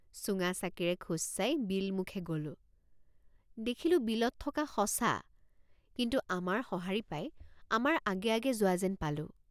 চুঙাচাকিৰে খোজ চাই বিলমুখে গলোঁ। চুঙাচাকিৰে খোজ চাই বিলমুখে গলোঁ। দেখিলোঁ বিলত থকা সঁচা কিন্তু আমাৰ সঁহাৰি পাই আমাৰ আগে আগে যোৱা যেন পালো।